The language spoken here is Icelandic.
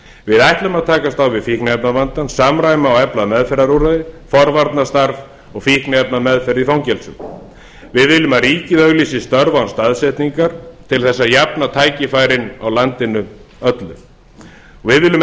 við ætlum að takast á við fíkniefnavandann samræma og efla meðferðarúrræði forvarnastarf og fíkniefnameðferð í fangelsum við viljum að ríkið auglýsi störf án staðsetningar til þess að jafna tækifærin á landinu öllu við viljum